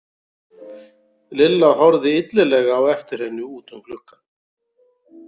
Lilla horfði illilega á eftir henni út um gluggann.